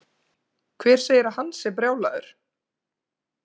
Hver segir að hann sé brjálaður?